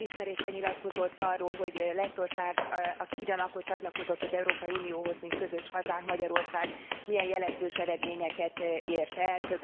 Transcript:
Elismeréssel nyilatkozott arról, hogy Lettország aki ugyanakkor csatlakozott az Európai Unióhoz, mint közös hazánk, Magyarország milyen jelentős eredményeket ért el.